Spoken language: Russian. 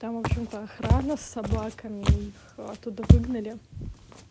там в общем то охрана с собаками и их оттуда выгнали